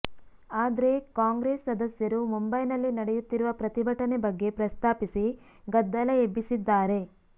ಆದ್ರೆ ಕಾಂಗ್ರೆಸ್ ಸದಸ್ಯರು ಮುಂಬೈನಲ್ಲಿ ನಡೆಯುತ್ತಿರುವ ಪ್ರತಿಭಟನೆ ಬಗ್ಗೆ ಪ್ರಸ್ತಾಪಿಸಿ ಗದ್ದಲ ಎಬ್ಬಿಸಿದ್ದಾರೆ